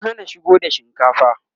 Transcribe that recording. an Hana shigo da shinkafa